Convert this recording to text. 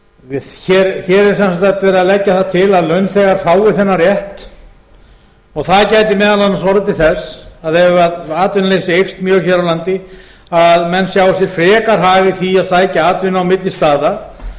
mundir hér er sem sagt verið að leggja það til að launþegar fái þennan rétt og það gæti orðið til þess ef atvinnuleysi eykst mjög hér á landi að menn sjái sér frekar hag í því að sækja atvinnu á milli staða